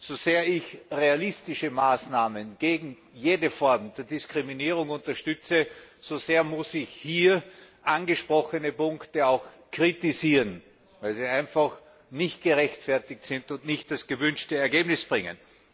So sehr ich realistische Maßnahmen gegen jede Form von Diskriminierung unterstütze, so sehr muss ich hier angesprochene Punkte auch kritisieren, weil sie einfach nicht gerechtfertigt sind und nicht das gewünschte Ergebnis bringen.